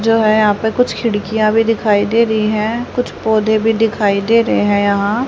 जो है यहां पे कुछ खिड़कियां भी दिखाई दे रही हैं कुछ पौधे भी दिखाई दे रहे हैं यहां।